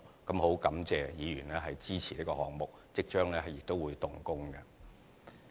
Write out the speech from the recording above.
我很感謝議員支持這項目，有關工程亦即將會動工。